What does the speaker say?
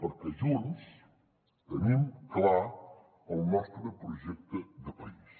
perquè junts tenim clar el nostre projecte de país